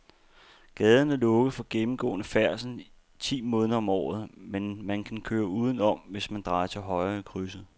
Gaden er lukket for gennemgående færdsel ti måneder om året, men man kan køre udenom, hvis man drejer til højre i krydset.